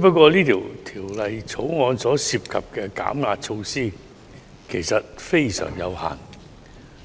不過，《條例草案》涉及的減壓措施其實非常有限，